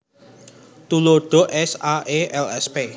Tuladha /s/ /a/ /e/ lsp